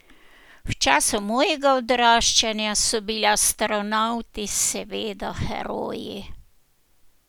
V času mojega odraščanja so bili astronavti seveda heroji.